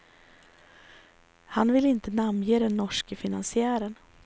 Han vill inte namnge den norske finansiären.